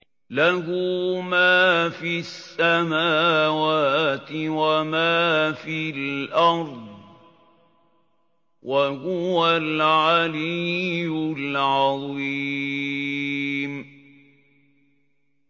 لَهُ مَا فِي السَّمَاوَاتِ وَمَا فِي الْأَرْضِ ۖ وَهُوَ الْعَلِيُّ الْعَظِيمُ